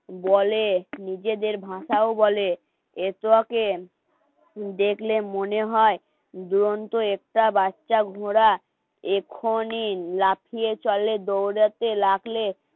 বলে নিজেদের ভাষাও বলে এসো দেখলে মনে হয় দুরন্ত একটা বাচ্চা ঘোড়া এ ক্ষণিন লাফিয়ে চলে দৌঁড়াতে লাগলে